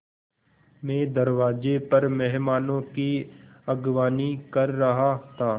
मैं दरवाज़े पर मेहमानों की अगवानी कर रहा था